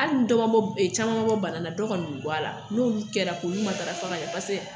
Hali ni dɔ man bɔ caman man bɔ bana na, dɔ kɔni bɛ bɔ a la n'olu kɛra k'olu matarafa ka ɲɛ.